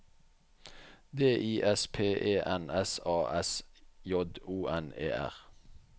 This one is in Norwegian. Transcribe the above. D I S P E N S A S J O N E R